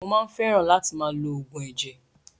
Mo máa ń fẹ́ràn látì máa lo oògùn ẹ̀jẹ̀.